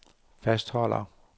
fastholder